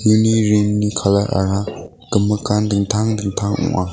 uni ringni colour-ara gimikan dingtang dingtang ong·a.